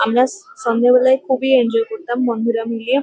আমরা স-সন্ধে বেলায় খুবই এনজয় করতাম বন্ধুরা মিলিয়ে।